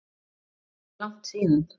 Er langt síðan?